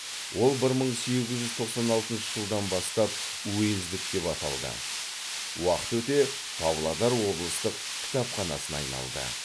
ол бір мың сегіз жүз тоқсан алтыншы жылдан бастап уездік деп аталды уақыт өте павлодар облыстық кітапханасына айналды